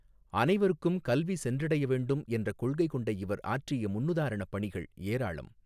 அனைவருக்கும் கல்வி சென்றடைய வேண்டும் என்ற கொள்கை கொண்ட இவர் ஆற்றிய முன்னுதாரணப் பணிகள் ஏராளம்.